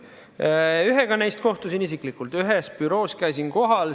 Ühega neist kohtusin isiklikult ühes büroos, käisin kohal.